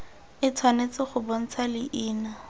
e tshwanetse go bontsha leina